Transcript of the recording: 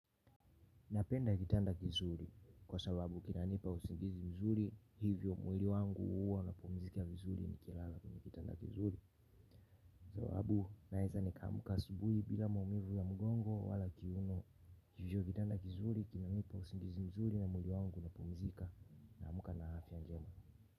Napenda kitanda kizuri, kwa sababu kinanipa usingizi mzuri, hivyo mwili wangu huwa una pumuzika vizuri ni kilala kwenye kitanda kizuri. Sababu naeza nikaamka asubuhi bila maumivu ya mgongo wala kiuno, hivyo kitanda kizuri kinanipa usingizi mzuri na mwili wangu una pumuzika na amka na afia njema.